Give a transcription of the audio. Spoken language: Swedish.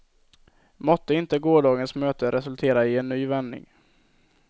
Måtte inte gårdagens möte resultera i en ny vändning.